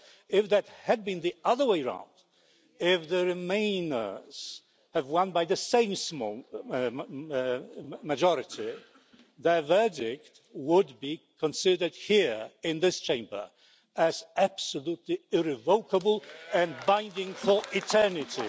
Well, if it had been the other way round if the remainers have won by the same small majority their verdict would have been considered here in this Chamber as absolutely irrevocable and binding for eternity.